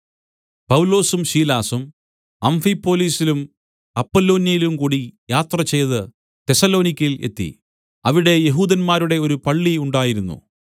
പൗലോസും ശീലാസും അംഫിപൊലിസിലും അപ്പൊലോന്യയിലുംകൂടി യാത്രചെയ്ത് തെസ്സലോനിക്യയിൽ എത്തി അവിടെ യെഹൂദന്മാരുടെ ഒരു പള്ളി ഉണ്ടായിരുന്നു